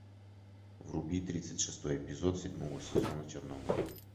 вруби тридцать шестой эпизод седьмого сезона чернобыль